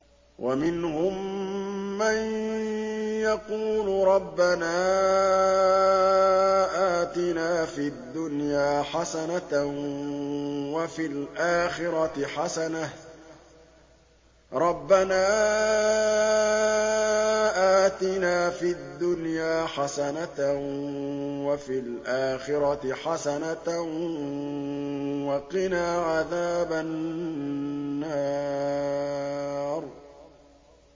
وَمِنْهُم مَّن يَقُولُ رَبَّنَا آتِنَا فِي الدُّنْيَا حَسَنَةً وَفِي الْآخِرَةِ حَسَنَةً وَقِنَا عَذَابَ النَّارِ